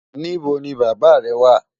Níbọ̀ ni bàbá rẹ̀ wà?